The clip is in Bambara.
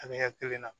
An bɛ ɲɛ kelen na